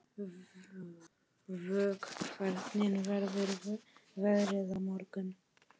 Vök, hvernig verður veðrið á morgun?